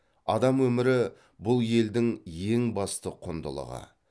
адам өмірі бұл елдің ең басты құндылығы